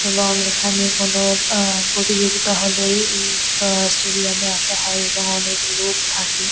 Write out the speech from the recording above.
এবং এখানে কোনো আহ প্রতিযোগিতা হলেই এই আহ স্টেডিয়াম -এ আসা হয় এবং অনেক লোক থাকে ।